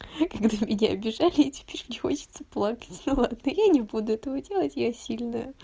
когда меня обижали и теперь мне хочется плакать но ладно я не буду этого делать я сильная